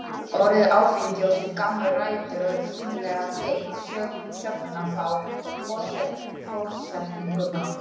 Orðið áfengi á sér gamlar rætur og er sýnilega tengt sögninni fá og forsetningunni á.